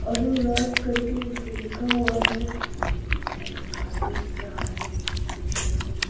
अरुण राज करके उस पे लिखा हुआ है एक आदमी दिख रहा है रिक्शे पे।